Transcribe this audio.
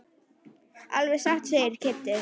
Alveg satt segir Kiddi.